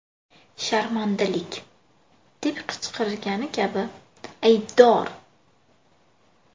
Sharmandalik!’ deb qichqirgani kabi ‘Aybdor!